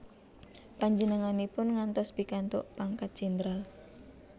Panjenenganipun ngantos pikantuk pangkat jendral